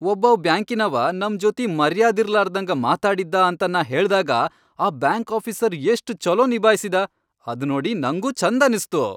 ಒಬ್ಬಾವ್ ಬ್ಯಾಂಕಿನವಾ ನಮ್ ಜೊತಿ ಮರ್ಯಾದಿರ್ಲಾರ್ದಂಗ ಮಾತಾಡಿದ್ದಾ ಅಂತ ನಾ ಹೇಳ್ದಾಗ ಆ ಬ್ಯಾಂಕ್ ಆಫೀಸರ್ ಎಷ್ಟ್ ಛೊಲೋ ನಿಭಾಯ್ಸಿದ ಅದ್ ನೋಡಿ ನಂಗೂ ಛಂದನಸ್ತು.